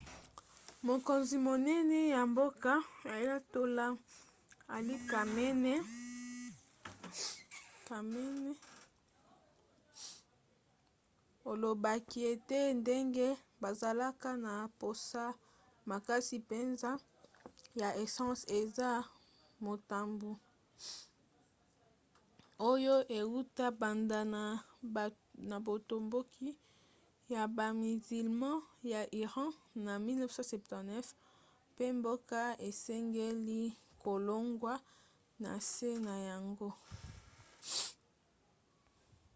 mokonzi monene ya mboka ayatollah ali khamenei alobaki ete ndenge bazalaka na mposa makasi mpenza ya essence eza motambu oyo euta banda na botomboki ya bamizilma ya iran na 1979 mpe mboka esengeli kolongwa na nse na yango